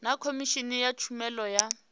na khomishini ya tshumelo ya